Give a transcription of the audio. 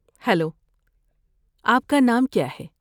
Hello, آپ کا نام کیا ہے؟